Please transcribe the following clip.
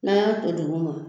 N'an y'a to duguma